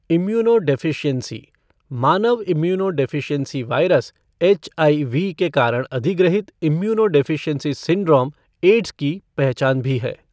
Immunodeficiency मानव immunodeficiency virus HIV के कारण अधिग्रहित इम्यूनोडेफ़िशियेंसी सिंड्रोम एड्स की पहचान भी है।